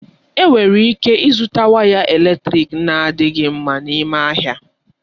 Enwere ịke ịzụta ngwa eletrịk na-adịghị mma n'ime ahịa.